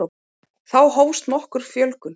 Þá hófst nokkur fjölgun.